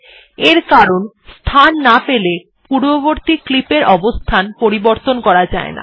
এর কারণ স্থান না পেলে পূর্ববর্তী ক্লিপ এর অবস্থান পরিবর্তন করা যায়না